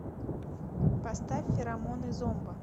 поставь феромоны зомба